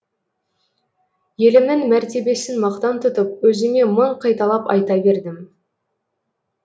елімнің мәртебесін мақтан тұтып өзіме мың қайталап айта бердім